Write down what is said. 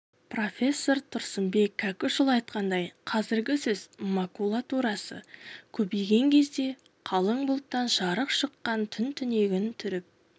профессор тұрсынбек кәкішұлы айтқандай қазіргі сөз макулатурасы көбейген кезде қалың бұлттан жарып шыққан түн түнегін түріп